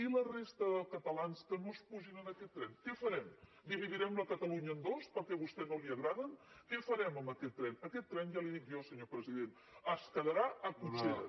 i la resta de catalans que no pugin a aquest tren què farem dividirem catalunya en dos perquè a vostè no li agraden què farem amb aquest tren aquest tren ja li ho dic jo senyor president es quedarà a cotxeres